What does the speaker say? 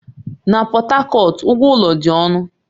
Na Pọt Hakọt, ụgwọ ụlọ dị ọnụ